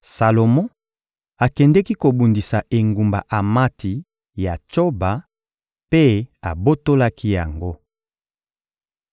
Salomo akendeki kobundisa engumba Amati ya Tsoba mpe abotolaki yango.